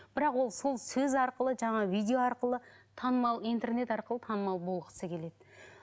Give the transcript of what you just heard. бірақ ол сол сөз арқылы жаңа видео арқылы танымал интернет арқылы танымал болғысы келеді